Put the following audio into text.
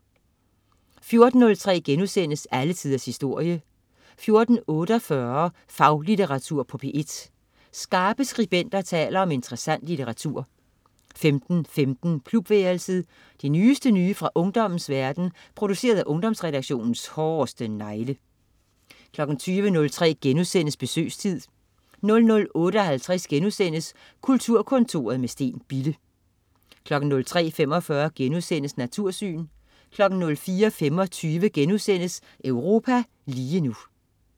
14.03 Alle tiders historie* 14.48 Faglitteratur på P1. Skarpe skribenter taler om interessant litteratur 15.15 Klubværelset. Det nyeste nye fra ungdommens verden, produceret af Ungdomsredaktionens hårdeste negle 20.03 Besøgstid* 00.58 Kulturkontoret med Steen Bille* 03.45 Natursyn* 04.25 Europa lige nu*